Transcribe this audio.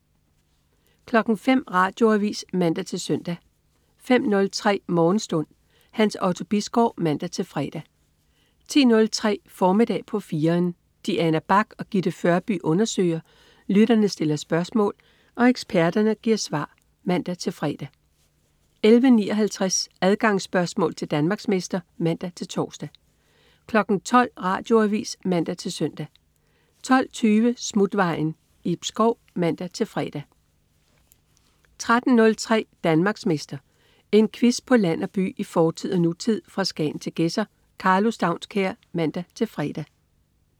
05.00 Radioavis (man-søn) 05.03 Morgenstund. Hans Otto Bisgaard (man-fre) 10.03 Formiddag på 4'eren. Diana Bach og Gitte Førby undersøger, lytterne stiller spørgsmål og eksperterne giver svar (man-fre) 11.59 Adgangsspørgsmål til Danmarksmester (man-tors) 12.00 Radioavis (man-søn) 12.20 Smutvejen. Ib Schou (man-fre) 13.03 Danmarksmester. En quiz på land og by, i fortid og nutid, fra Skagen til Gedser. Karlo Staunskær (man-fre)